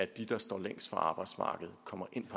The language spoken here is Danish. der står længst fra arbejdsmarkedet kommer ind